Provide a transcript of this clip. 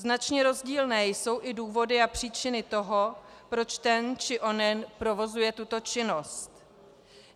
Značně rozdílné jsou i důvody a příčiny toho, proč ten či onen provozuje tuto činnost.